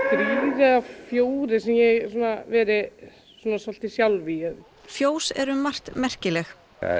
eða fjórir sem ég hef verið mest sjálf í fjós eru um margt merkileg